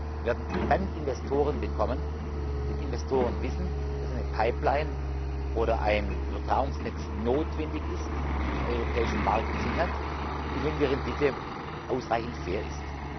Wir werden dann Investoren bekommen, wenn Investoren wissen, dass eine Pipeline oder ein Übertragungsnetz notwendig ist, im europäischen Markt Sinn hat und wenn die Rendite ausreichend fair ist.